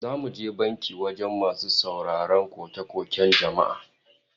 Za mu je banki wajen masu sauraron koke-koken jama'a